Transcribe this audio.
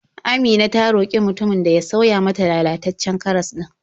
Amina ta roƙi mutumin da ya sauya mata lalataccen karas ɗin.